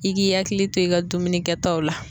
I k'i hakili to i ka dumuni kɛtaw la.